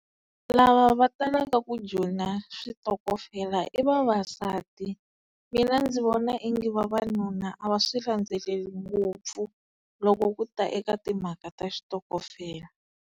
Lava va talaka ku joyina switokofela i vavasati, mina ndzi vona ingi vavanuna a va swi landzeleli ngopfu loko ku ta eka timhaka ta xitokofela.